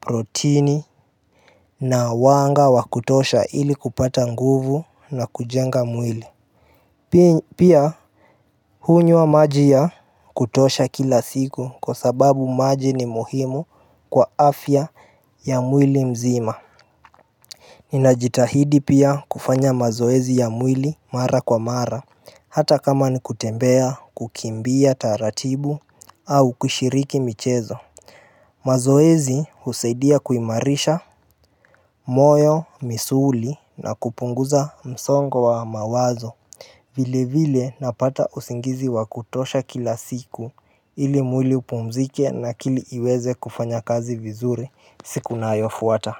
protini na wanga wa kutosha ili kupata nguvu na kujenga mwili Pia hunywa maji ya kutosha kila siku kwa sababu maji ni muhimu kwa afya ya mwili mzima Ninajitahidi pia kufanya mazoezi ya mwili mara kwa mara hata kama ni kutembea kukimbia taratibu au kushiriki michezo mazoezi husaidia kuimarisha moyo, misuli na kupunguza msongo wa mawazo vile vile napata usingizi wa kutosha kila siku ili mwili upumzike na akili iweze kufanya kazi vizuri siku inayofuata.